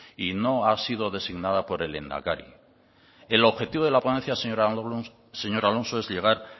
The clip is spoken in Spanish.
y no ha sido designada por el lehendakari el objetivo de la ponencia señor alonso es llegar